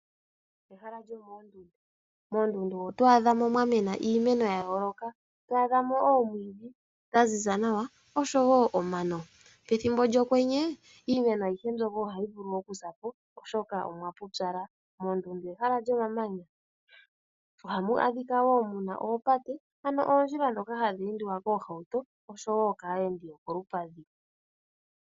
Ehala lyomoondundu, moondundu oto adha mo mwa mena iimeno ya yooloka, to adha mo oomwiidhi dha ziza nawa osho woo omano. Pethimbo lyokwenye iimeno ayihe mbyoka ohayi vulu oku sa po molwaashoka omwa pupyala. Moondundu ehala lyomamanya ohamu adhika woo muna oopate ano oondjila ndhoka hadhi endwa koohauto osho woo kaayendi yokolupadhi.